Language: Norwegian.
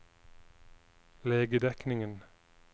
legedekningen